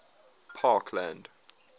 parkland